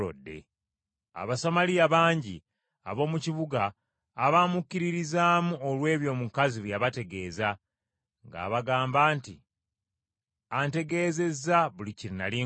Abasamaliya bangi ab’omu kibuga abaamukkiririzaamu olw’ebyo omukazi bye yabategeeza, ng’abagamba nti, “Antegeezezza buli kye nnali nkoze!”